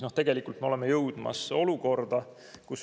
Ja tegelikult me olemegi jõudmas olukorda.